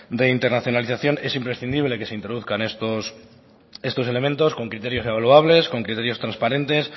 de internacionalización es imprescindible que se introduzcan estos elementos con criterios evaluables con criterios transparentes